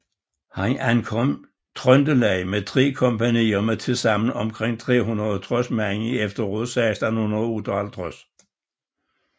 Han ankom Trøndelag med tre kompagnier med tilsammen omkring 360 mand i efteråret 1658